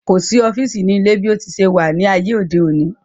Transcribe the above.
Kò sí ọ́fìsì ní ilé bí ó ti se wà ní ayé òde òni